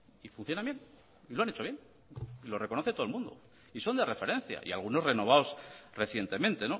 y funcionan bien lo han hecho bien y lo reconoce todo el mundo y son de referencia y algunos renovados recientemente